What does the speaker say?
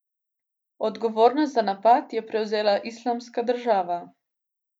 Odgovornost za napad je prevzela Islamska država.